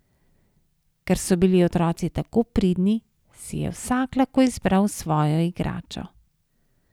Ker so bili otroci tako pridni, si je vsak lahko izbral svojo igračo.